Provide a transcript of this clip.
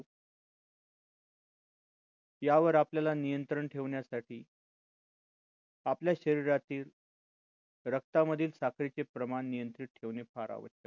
यावर आपल्याला नियंत्रण ठेवण्यासाठी आपल्या शरीरातील रक्तामधील साखरेचे प्रमाण नियंत्रित ठेवणे फार आवश्यक आहे